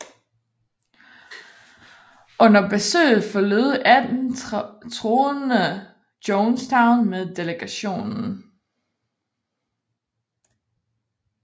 Under besøget forlod 18 troende Jonestown med delegationen